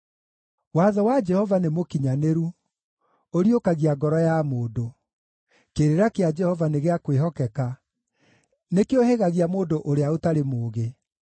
Watho wa Jehova nĩ mũkinyanĩru, ũriũkagia ngoro ya mũndũ. Kĩrĩra kĩa Jehova nĩ gĩa kwĩhokeka, nĩkĩũhĩgagia mũndũ ũrĩa ũtarĩ mũũgĩ.